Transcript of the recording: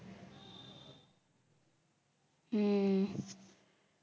ஹம்